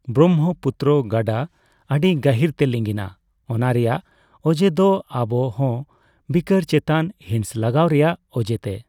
ᱵᱨᱚᱢᱵᱷᱚᱯᱩᱛᱛᱨᱚ ᱜᱟᱰᱟ ᱟᱰᱤ ᱜᱟᱦᱤᱨ ᱛᱮ ᱞᱤᱸᱜᱤᱱᱟ ᱚᱱᱟᱨᱮᱭᱟᱜ ᱚᱡᱮᱫᱚ ᱚᱵᱚᱦᱚᱵᱤᱠᱟᱨ ᱪᱮᱛᱟᱱ ᱦᱤᱸᱥ ᱜᱚᱞᱟᱣ ᱨᱮᱭᱟᱜ ᱚᱡᱮᱛᱮ ᱾